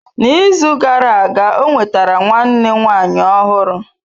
N'izu gara aga ọ nwetara nwanne nwanyị ọhụrụ.